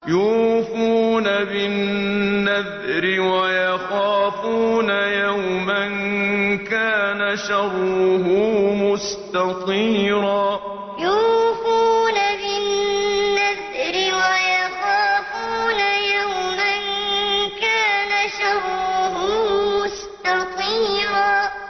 يُوفُونَ بِالنَّذْرِ وَيَخَافُونَ يَوْمًا كَانَ شَرُّهُ مُسْتَطِيرًا يُوفُونَ بِالنَّذْرِ وَيَخَافُونَ يَوْمًا كَانَ شَرُّهُ مُسْتَطِيرًا